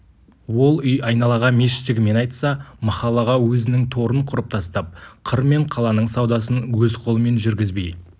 ол үй айналаға мешіт жігімен айтса махаллаға өзінің торын құрып тастап қыр мен қаланың саудасын өз қолымен жүргізбей